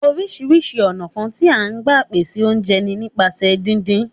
Oríṣìí ọ̀nà kan tí à ń gbà pèsè oúnjẹ ni nípasẹ̀ díndín